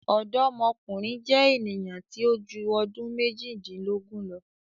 Ọdọmọkunrin jẹ eniyan ti o ju ọdun mejidilogun lọ